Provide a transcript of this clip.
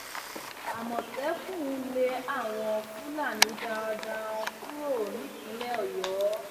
àmọtẹkùn lé àwọn fúlàní darandaran kúrò nípìnlẹ ọyọ